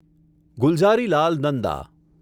Gulzarilal Nanda